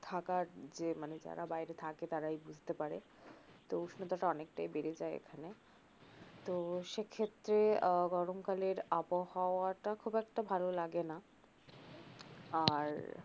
থাকার যে মানে যারা বাইরে থাকে তারাই বুজতে পারে তো উষ্ণতাটা অনেকটাই বেড়ে যায় এখানে তো সে ক্ষেত্রে আহ গরমকালের আবহাওয়াটা খুব একটা ভাল লাগে না আর